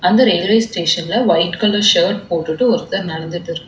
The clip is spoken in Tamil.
அந்த ரயில்வே ஸ்டேஷன்ல ஒயிட் கலர் ஷர்ட் போட்டுட்டு ஒருத்தர் நடந்துட்டுருக்--